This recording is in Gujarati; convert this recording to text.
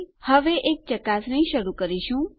હવે આપણે શું કરીશું આપણે એક ચકાસણી શરૂ કરીશું